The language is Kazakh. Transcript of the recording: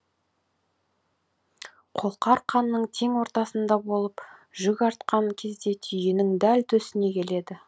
қолқа арқанның тең ортасында болып жүк артқан кезде түйенің дәл төсіне келеді